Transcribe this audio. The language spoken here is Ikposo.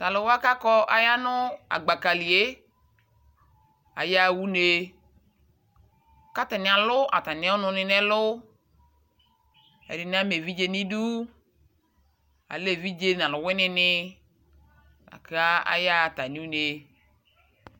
Tʊ alʊwanɩ kɔ nʊ ʊlɔ li yɛ ayaɣa une, kʊ atanɩ alʊ atami ɔnʊnɩ nʊ ɛlʊ, ɛdɩnɩ ama evidze nʊ idu, alɛ evidze nʊ alʊwɩnɩ nɩ kʊ ayaɣa atami une